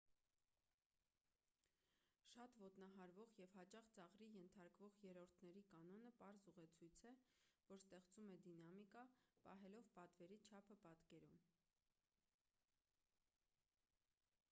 շատ ոտնահարվող և հաճախ ծաղրի ենթարկվող երրորդների կանոնը պարզ ուղեցույց է որ ստեղծում է դինամիկա պահելով պատվերի չափը պատկերում